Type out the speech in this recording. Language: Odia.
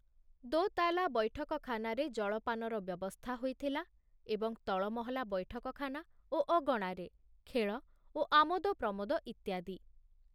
ଦୋତାଲା ବୈଠକଖାନାରେ ଜଳପାନର ବ୍ୟବସ୍ଥା ହୋଇଥିଲା ଏବଂ ତଳମହଲା ବୈଠକଖାନା ଓ ଅଗଣାରେ ଖେଳ ଓ ଆମୋଦ ପ୍ରମୋଦ ଇତ୍ୟାଦି।